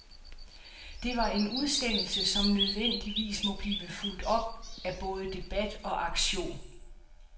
Det var en udsendelse, som nødvendigvis må blive fulgt op af både debat og aktion.